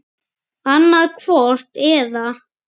Annað hvort eða.